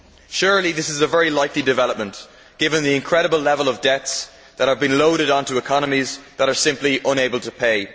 Surely, this is a very likely development, given the incredible level of debts that have been loaded onto economies that are simply unable to pay.